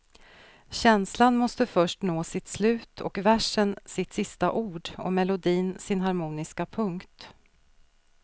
Känslan måste först nå sitt slut och versen sitt sista ord och melodin sin harmoniska punkt.